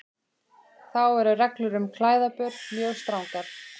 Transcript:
Þá eru reglur um klæðaburð mjög strangar.